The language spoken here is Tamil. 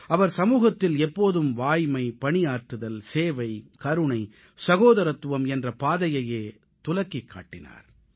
அவர் சமூகத்தில் எப்போதும் வாய்மை பணியாற்றுதல் சேவை கருணை சகோதரத்துவம் என்ற பாதையையே துலக்கிக் காட்டினார்